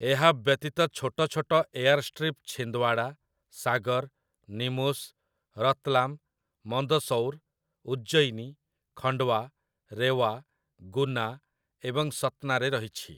ଏହା ବ୍ୟତୀତ ଛୋଟ ଛୋଟ ଏୟାରଷ୍ଟ୍ରିପ୍‌ ଛିନ୍ଦୱାଡ଼ା, ସାଗର୍, ନିମୁସ୍, ରତ୍‌ଲାମ୍, ମନ୍ଦସୌର୍, ଉଜ୍ଜୟିନୀ, ଖଣ୍ଡୱା, ରେୱା, ଗୁନା ଏବଂ ସତ୍‌ନାରେ ରହିଛି ।